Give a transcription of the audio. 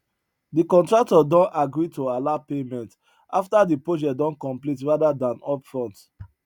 de contractor don agree to allow payment after de project don complete rather dan upfront